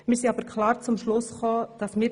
Dabei sind wir jedoch klar zum Schluss gekommen: